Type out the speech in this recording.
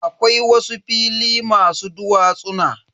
Akwai wasu fili masu duwatsuna.